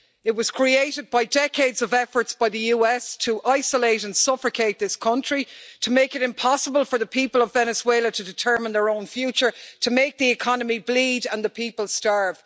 It was created by decades of efforts by the US to isolate and suffocate this country, to make it impossible for the people of Venezuela to determine their own future, and to make the economy bleed and the people starve.